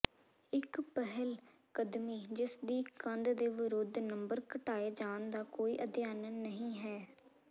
ਇੱਕ ਪਹਿਲਕਦਮੀ ਜਿਸਦੀ ਕੰਧ ਦੇ ਵਿਰੁੱਧ ਨੰਬਰ ਘਟਾਏ ਜਾਣ ਦਾ ਕੋਈ ਅਧਿਐਨ ਨਹੀਂ ਹੈ